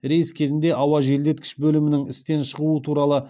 рейс кезінде ауа желдеткіш бөлімінің істен шығуы туралы